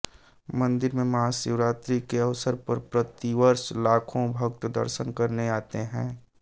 मंदिर में महाशिवरात्रि के अवसर पर प्रतिवर्ष लाखों भक्त दर्शन करने आते हैं